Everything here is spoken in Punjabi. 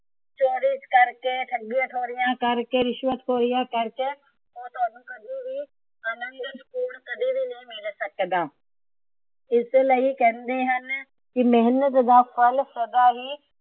ਚੋਰੀਆਂ ਕਰਕੇ, ਠੱਗੀਆਂ ਠੋਰੀਆ ਕਰਕੇ, ਰਿਸ਼ਵਤ ਖੋਰੀਆਂ ਕਰਕੇ ਉਹ ਤੁਹਾਨੂੰ ਕਦੇ ਵੀ ਆਨੰਦ ਕਦੀ ਵੀ ਨੀ ਮਿਲ ਸਕਦਾ। ਇਸੇ ਲਈ ਕਹਿੰਦੈ ਹਨ ਕਿ ਮੇਹਨਤ ਦਾ ਫ਼ਲ ਸਦਾ ਹੀ